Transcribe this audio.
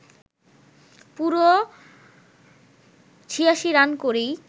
পুরো ৮৬ রান করেই